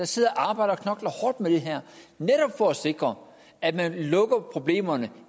sidder og arbejder og knokler hårdt med det her for at sikre at man lukker problemer